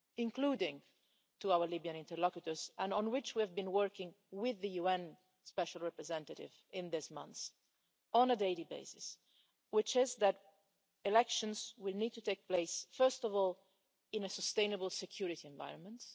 including to our Libyan interlocutors and on which we have been working with the UN special representative in these months on a daily basis, which is that elections will need to take place first of all in a sustainable security environment.